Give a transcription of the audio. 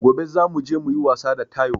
Gobe za muje muyi wasa da taiwo